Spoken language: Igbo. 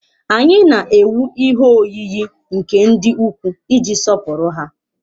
Anyị na-ewu ihe oyiyi nke ndị ukwu iji sọpụrụ ha.